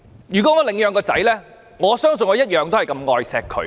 如果我領養子女，相信我會同樣愛惜他。